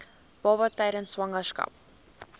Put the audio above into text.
baba tydens swangerskap